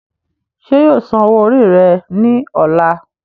ṣé yóò san owó rẹ̀ ní ọ̀la?